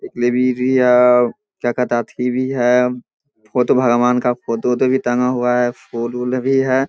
एक लाइब्रेरी है क्या कहता है अथी भी है बुद्ध भगवान का फोटो उटो भी टंगा हुआ है फूल-वूल भी है।